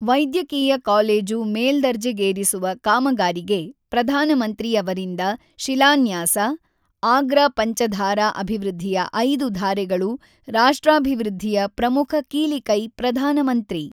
ವೈದ್ಯಕೀಯ ಕಾಲೇಜು ಮೇಲ್ದರ್ಜೆಗೇರಿಸುವ ಕಾಮಗಾರಿಗೆ ಪ್ರಧಾನಮಂತ್ರಿ ಅವರಿಂದ ಶಿಲಾನ್ಯಾಸ, ಆಗ್ರಾ ಪಂಚಧಾರಾ ಅಭಿವೃದ್ಧಿಯ ಐದು ಧಾರೆಗಳು ರಾಷ್ಟ್ರಾಭಿವೃದ್ಧಿಯ ಪ್ರಮುಖ ಕೀಲಿ ಕೈ ಪ್ರಧಾನಮಂತ್ರಿ